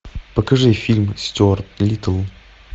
покажи фильм стюарт литтл